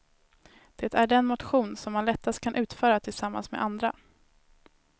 Det är den motion som man lättast kan utföra tillsammans med andra.